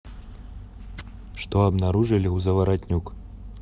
что обнаружили у заворотнюк